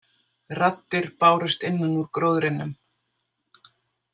Raddir bárust innan úr gróðrinum.